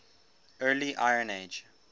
early iron age